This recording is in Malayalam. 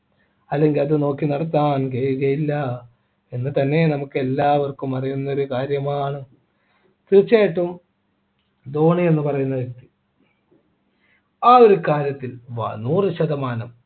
അല്ലെങ്കിൽ അത് നോക്കി നടത്താൻ കഴിയുകയില്ല എന്ന് തന്നെ നമുക്ക് എല്ലാവർക്കും അറിയുന്ന ഒരു കാര്യമാണ് തീർച്ചയായിട്ടും ധോണി എന്ന് പറയുന്ന വ്യക്തി ആ ഒരു കാര്യത്തിൽ വാ നൂറു ശതമാനം